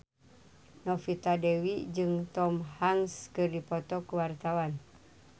Novita Dewi jeung Tom Hanks keur dipoto ku wartawan